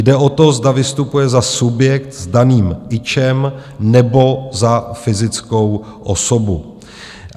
Jde o to, zda vystupuje za subjekt s daným ičem , nebo za fyzickou osobu.